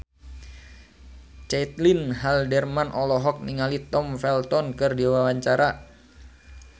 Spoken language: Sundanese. Caitlin Halderman olohok ningali Tom Felton keur diwawancara